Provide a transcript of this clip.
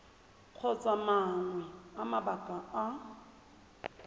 kgotsa mangwe a mabaka a